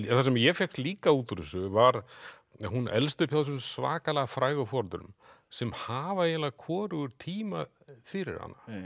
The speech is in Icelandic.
það sem ég fékk líka út úr þessu var að hún elst upp hjá þessum svakalega frægu foreldrum sem hafa eiginlega hvorugur tíma fyrir